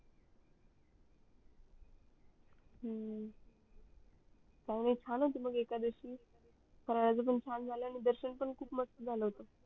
हम्म चांगली छान होती मग एकादशी फरड्याच पण छान झाल आणि दर्शन पण खूप मस्त झाल होत